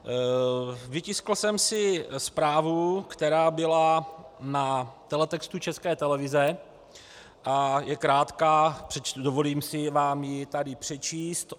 Vytiskl jsem si zprávu, která byla na teletextu České televize a je krátká, dovolím si vám ji tady přečíst.